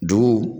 Dugu